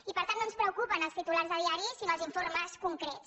i per tant no ens preocupen els titu·lars de diari sinó els informes concrets